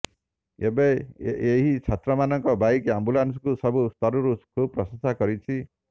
ଏବେ ଏହି ଛାତ୍ରମାନଙ୍କ ବାଇକ୍ ଆମ୍ବୁଲାନ୍ସକୁ ସବୁ ସ୍ତରରୁ ଖୁବ୍ ପ୍ରଶଂସା ମିଳୁଛି